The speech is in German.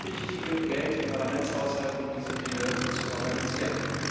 wir haben richtig viel Geld im Parlamentshaushalt, um diese Dinge zu organisieren.